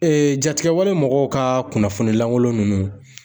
jatigɛwale mɔgɔw ka kunnafoni lankolon ninnu.